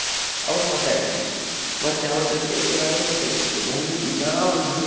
ಅವರು ಮಾತಾಡ್ಲಿಕ್ಕೆ ಮತ್ತೆ ಅವ್ರ್ ಜೊತೆ ಏನಾದ್ರೂ question ಕೇಳಿಕ್ಕೆ ನಂದು ದಿನಾ ಒಂದೊಂದು.